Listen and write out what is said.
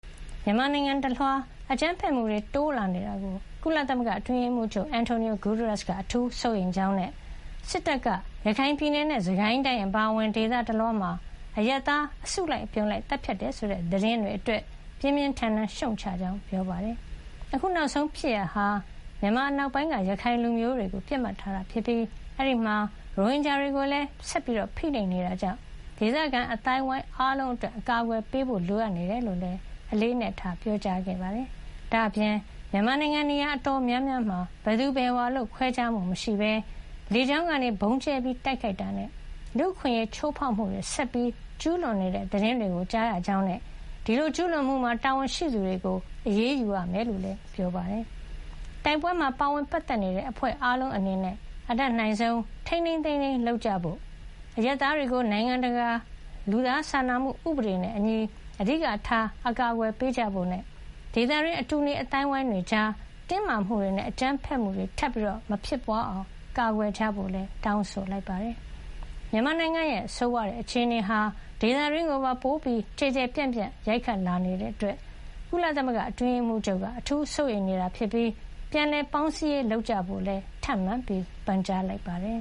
မြန်မာနိုင်ငံတလွှား အကြမ်းဖက်မှုတွေတိုးလာနေတာကို ကုလသမဂ္ဂအတွင်းရေးမှူးချုပ် Antonio Guterrus က အထူးစိုးရိမ်ကြောင်းနဲ့ မကြာသေးခင်ကပဲ စစ်တပ်က ရခိုင်ပြည်နယ်နဲ့ စစ်ကိုင်းတိုင်းအပါအဝင် ဒေသတလွှားမှာ အရပ်သားတွေကို အစုလိုက်အပြုံလိုက်သတ်ဖြတ်တယ်ဆိုတဲ့ သတင်းတွေအတွက် ပြင်းပြင်းထန်ထန်ရှုတ်ချကြောင်း ကုလသမဂ္ဂက ကြာသပတေးနေ့မှာ ပြောပါတယ်။ အခုနောက်ဆုံးဖြစ်ရပ်ဟာ မြန်မာအနောက်ပိုင်းက ရခိုင်လူမျိုးတွေကို ပစ်မှတ်ထားတာဖြစ်ပြီး အဲဒီမှာ ရိုဟင်ဂျာတွေကိုလည်း ဆက်လက်ဖိနှိပ်နေတာကြောင့် ဒေသခံအသိုင်းဝိုင်းအားလုံးအတွက် အကာကွယ်ပေးဖို့ လိုအပ်နေတယ်လို့လည်း အလေးအနက်ပြောပါတယ်။ ဒါ့အပြင် မြန်မာနိုင်ငံ နေရာ အတော်များများမှာ ဘယ်သူဘယ်ဝါ ခွဲခြားမှုမရှိဘဲ လေကြောင်းကနေ ဗုံးကြဲတိုက်ခိုက်တာနဲ့ လူ့အခွင့်ရေး ချိုးဖေါက်မှုတွေ ဆက်လက်ကျူးလွန်နေတဲ့ သတင်းတွေကြားရကြောင်းနဲ့ ဒီလိုကျူးလွန်မှုမှာ တာဝန်ရှိသူတွေကို အပစ်ပေး အရေးယူရမှာဖြစ်ကြောင်းလည်း ပြောပါတယ်။ တိုက်ပွဲမှာပါဝင်ပတ်သက်နေတဲ့ အဖွဲ့အားလုံးအနေနဲ့ အတတ်နိုင်ဆုံး ထိန်းထိန်းသိမ်းသိမ်း လုပ်ကြဖို့၊ အရပ်သားတွေကို နိုင်ငံတကာ လူသားစာနာမှုဥပဒေနဲ့အညီ အဓိကထား အကာကွယ်ပေးကြဖို့နဲ့ ဒေသတွင်း အတူနေအသိုင်းဝိုင်းတွေကြား တင်းမာမှုတွေနဲ့ အကြမ်းဖက်မှုတွေ ထပ်မဖြစ်အောင် ကာကွယ်ကြဖို့လည်း တောင်းဆိုလိုက်ပါတယ်။ မြန်မာနိုင်ငံရဲ့ဆိုးဝါးတဲ့အခြေအနေဟာ ဒေသတွင်းကိုပါ ပိုပြီး ကျယ်ကျယ်ပြန့်ပြန့် ရိုက်ခတ်လာနေတာအတွက် အတွင်းရေးမှူးချုပ်က အထူးစိုးရိမ်နေပြီး ပြန်လည်ပေါင်းစည်းရေးလုပ်ကြဖို့လည်း ထပ်မံပန်ကြားလိုက်ပါတယ်